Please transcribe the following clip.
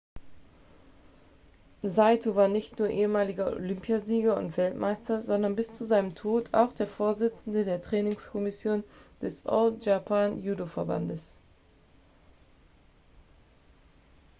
saito war nicht nur ehemaliger olympiasieger und weltmeister sondern bis zu seinem tod auch der vorsitzende der trainingskommission des all japan judoverbandes